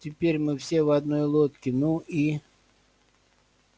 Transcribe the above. теперь мы все в одной лодке ну и